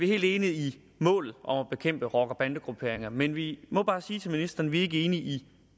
helt enige i målet om at bekæmpe rocker bande grupperinger men vi må bare sige til ministeren vi er ikke enige i